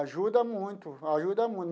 Ajuda muito, ajuda muito.